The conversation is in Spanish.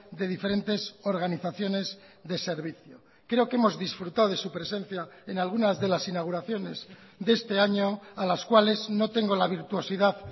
de diferentes organizaciones de servicio creo que hemos disfrutado de su presencia en algunas de las inauguraciones de este año a las cuales no tengo la virtuosidad